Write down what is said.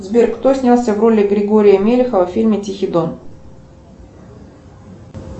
сбер кто снялся в роли григория мелехова в фильме тихий дон